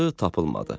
tapılmadı.